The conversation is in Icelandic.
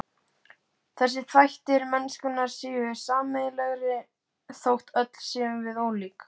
Þessir þættir mennskunnar séu sameiginlegir þótt öll séum við ólík.